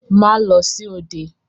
Má lọ sí òde!